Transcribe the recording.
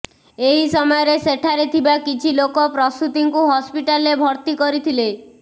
ଏହି ସମୟରେ ସେଠାରେ ଥିବା କିଛି ଲୋକ ପ୍ରସୂତିଙ୍କୁ ହସ୍ପିଟାଲରେ ଭର୍ତି କରିଥିଲେ